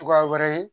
Cogoya wɛrɛ ye